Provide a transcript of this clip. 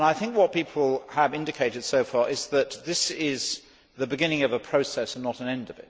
What people have indicated so far is that this is the beginning of a process and not an end.